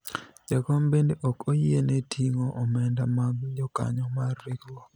jakom bende ok oyiene ting'o omenda mag jokanyo mar riwruok